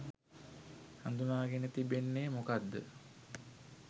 හඳුනාගෙන තිබෙන්නේ මොකක්ද?